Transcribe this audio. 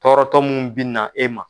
Tɔɔrɔtɔ mun bɛ na e ma.